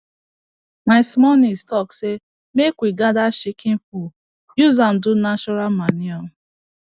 my small niece talk say make we gather chicken poo use am do natural manure